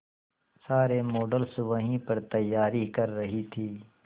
सारे मॉडल्स वहीं पर तैयारी कर रही थी